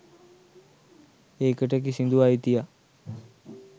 ඒකට කිසිදු අයිතියක්